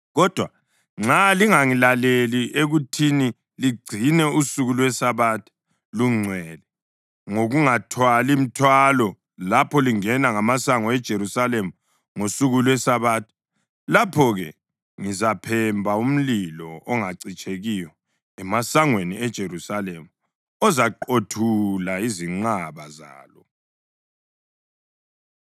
Kodwa nxa lingangilaleli ekuthini ligcine usuku lweSabatha lungcwele ngokungathwali mthwalo lapho lingena ngamasango aseJerusalema ngosuku lweSabatha, lapho-ke ngizaphemba umlilo ongacitshekiyo emasangweni eJerusalema ozaqothula izinqaba zalo.’ ”